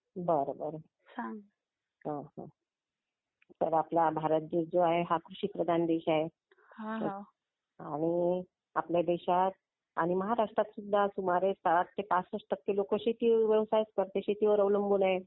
बरं बरं तर आपला भारत देश जो आहे हा कृषी प्रधान देश आहे. आणि आपल्या देशात आणि महाराष्ट्रात सुद्धा सुमारे 60 ते 65 टक्के लोक शेती व्यवसायच करते शेतीवर अवलंबून आहे.